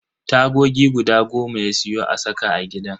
Tagogi guda goma ya siyo a saka a gidan.